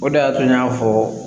O de y'a to n y'a fɔ